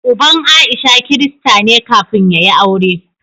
Uban Aisha Kirista ne kafin ya yi aure.